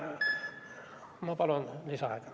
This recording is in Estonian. Ma palun lisaaega!